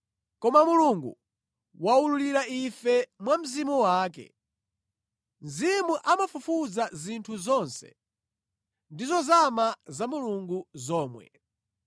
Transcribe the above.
koma Mulungu waululira ife mwa Mzimu wake. Mzimu amafufuza zinthu zonse, ndi zozama za Mulungu zomwe.